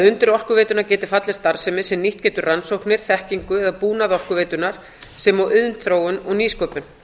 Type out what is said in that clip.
undir orkuveituna geti fallið starfsemi sem nýtt getur rannsóknir þekkingu eða búnað orkuveitunnar sem og iðnþróun og nýsköpun